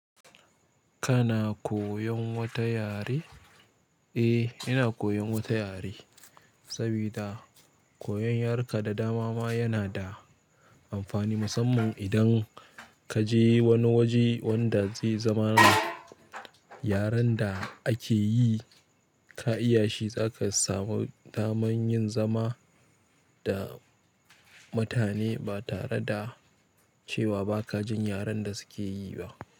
Kana koyon wata yare? Eh, ina koyon wata yare sabida koyon yaruka da dama ma yana da amfani, musamman idan kaje wani waje wanda zai zama yaren da ake yi ka iyashi, zaka samu daman yin zama da mutane ba tare da cewa ba ka jin yaren da suke yi ba.